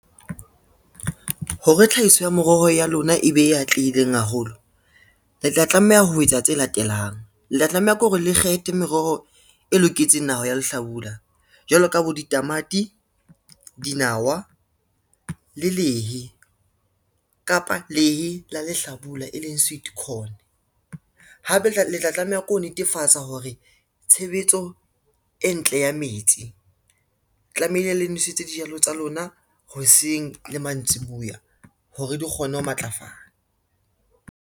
Hore tlhahiso ya moroho ya lona e be e atlehileng haholo, le tla tlameha ho etsa tse latelang. Le tla tlameha ke hore le kgethe meroho e loketseng naha ya lehlabula, jwalo ka bo ditamati, dinawa le lehe kapa lehe la lehlabula, e leng sweet corn. Hape le tla tlameha ke ho netefatsa hore, tshebetso e ntle ya metsi tlamehile le nwesetse dijalo tsa lona hoseng le mantsiboya hore di kgone ho matlafala.